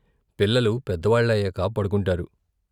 పిల్లలు పెద్దవాళ్ళయ్యాక పడుకుంటారు.